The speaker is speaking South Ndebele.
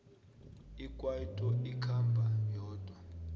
ikwaito ikhamba yodwa